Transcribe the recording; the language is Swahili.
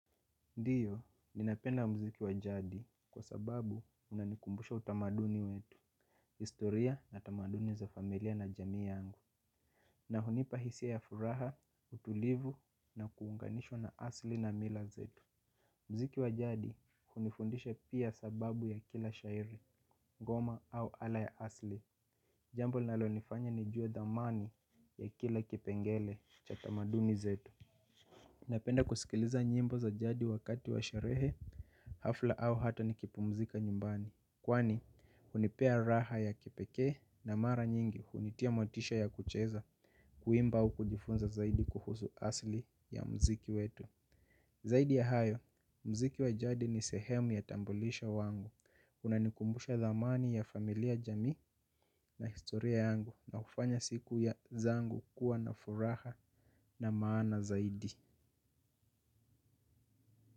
Ndiyo ninapenda mziki wa jadi kwa sababu unanikumbusha utamaduni wetu historia na tamaduni za familia na jamii yangu. Na hunipa hisia ya furaha, utulivu na kuunganishwa na asli na mila zetu. Mziki wa jadi kunifundisha pia sababu ya kila shairi, ngoma au ala ya asli. Jambo linalonifanya ni juwe dhamani ya kila kipengele cha tamaduni zetu napenda kusikiliza nyimbo za jadi wakati wa sherehe hafla au hata nikipumzika nyumbani kwani hunipea raha ya kipekee na mara nyingi hunitia motisha ya kucheza kuimba au kujifunza zaidi kuhusu asili ya mziki wetu. Zaidi ya hayo, mziki wa jadi ni sehemu ya tambulisha wangu unanikumbusha thamani familia jamii na historia yangu na kufanya siku zangu kuwa na furaha na maana zaidi.